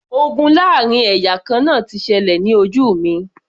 Ogun láàrin ẹ̀yà kan náà ti ṣẹlẹ̀ ní ojú mi